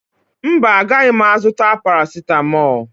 Mba, agaghị m azụta parasịtamọọlụ